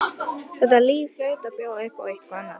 Þetta líf hlaut að bjóða upp á eitthvað annað.